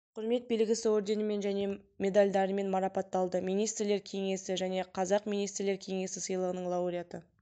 құрмет белгісі орденімен және медальдарымен марапатталды министрлер кеңесі және қазақ министрлер кеңесі сыйлығының лауреаты